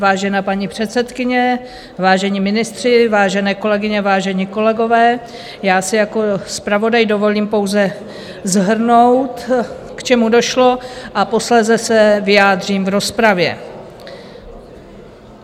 Vážená paní předsedkyně, vážení ministři, vážené kolegyně, vážení kolegové, já si jako zpravodaj dovolím pouze shrnout, k čemu došlo, a posléze se vyjádřím v rozpravě.